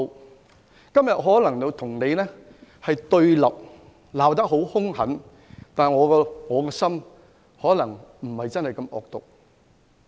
我今天可能與你對立，會罵得很兇狠，但我的內心可能並非真的那麼惡毒。